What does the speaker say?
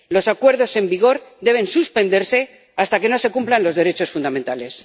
Los acuerdos en vigor deben suspenderse hasta que no se cumplan los derechos fundamentales.